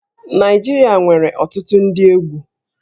Naịjirịa nwere ọtụtụ ndị egwú